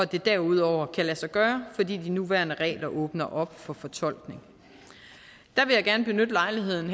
det derudover kan lade sig gøre fordi de nuværende regler åbner op for fortolkning jeg vil gerne benytte lejligheden